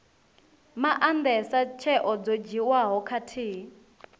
maandesa tsheo dzo dzhiiwaho khathihi